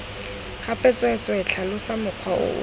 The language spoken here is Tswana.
gape tsweetswee tlhalosa mokgwa oo